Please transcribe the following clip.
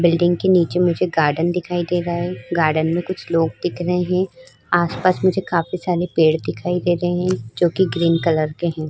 Building के नीचे मुझे गार्डन दिखाई दे रहा है। गार्डन में कुछ लोग दिख रहे हैं। आस-पास मुझे काफी सारे पेड़ दिखाई दे रहे हैं जो कि ग्रीन कलर के हैं।